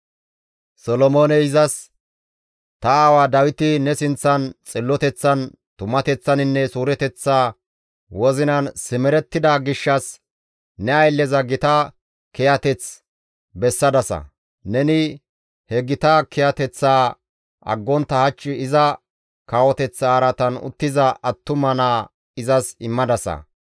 Solomooney izas, «Ta aawa Dawiti ne sinththan xilloteththan, tumateththaninne suureteththa wozinan simerettida gishshas ne aylleza gita kiyateth bessadasa; neni he gita kiyateththaa aggontta hach iza kawoteththa araatan uttiza attuma naa izas immadasa.